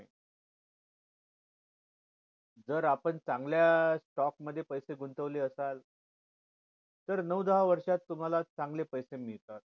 जर आपण चांगल्या stock मध्ये पैसे गुंतवले असाल तर नऊ दहा वर्षात तुम्हाला चांगले पैसे मिळतात